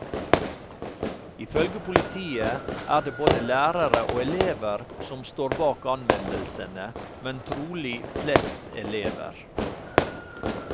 Ifølge politiet er det både lærere og elever som står bak anmeldelsene, men trolig flest elever.